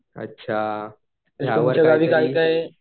अच्छा